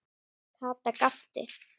Kata gapti.